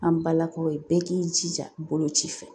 An balakaw ye bɛɛ k'i jija boloci fɛ